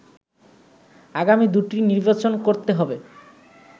আগামী দু’টি নির্বাচন করতে হবে